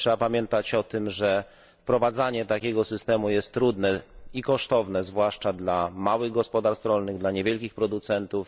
Trzeba pamiętać o tym, że wprowadzanie takiego systemu jest trudne i kosztowne, zwłaszcza dla małych gospodarstw rolnych, dla niewielkich producentów.